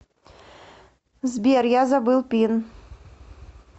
сбер я забыл пин